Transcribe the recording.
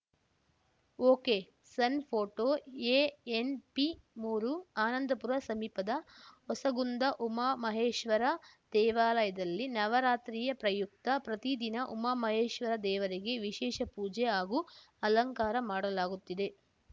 ಒಕೆಸಣ್ photo ಎಎನ್‌ಪಿಮೂರು ಆನಂದಪುರ ಸಮೀಪದ ಹೊಸಗುಂದ ಉಮಾಮಹೇಶ್ವರ ದೇವಾಲಯದಲ್ಲಿ ನವರಾತ್ರಿಯ ಪ್ರಯುಕ್ತ ಪ್ರತಿದಿನ ಉಮಾಮಹೇಶ್ವರ ದೇವರಿಗೆ ವಿಶೇಷ ಪೂಜೆ ಹಾಗು ಅಲಂಕಾರ ಮಾಡಲಾಗುತ್ತಿದೆ